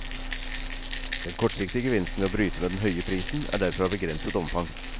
Den kortsiktige gevinsten ved å bryte med den høye prisen er derfor av begrenset omfang.